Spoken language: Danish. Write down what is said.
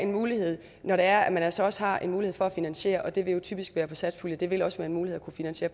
muligheden når der altså også er en mulighed for at finansiere det vil typisk være satspuljen det vil også være en mulighed at finansiere